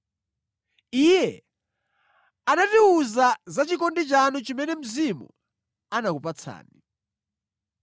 Iye anatiwuza za chikondi chanu chimene Mzimu anakupatsani.